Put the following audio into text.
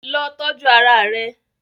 Lọ tọju ara rẹ!